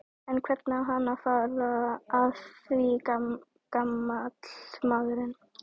En hvernig á hann að fara að því gamall maðurinn?